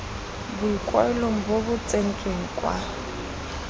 boikuelo bo bo tsentsweng kwa